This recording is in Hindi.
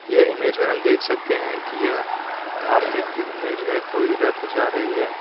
यह इमेज में हम देख सकते हैं कि यह धार्मिक इमेज है कोई रथ जा रही है।